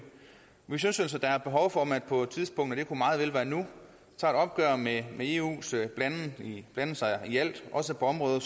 vi synes altså at der er behov for at man på et tidspunkt og det kunne meget vel være nu tager et opgør med eus blanden sig i alt også på områder